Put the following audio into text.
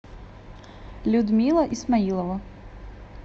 людмила исмаилова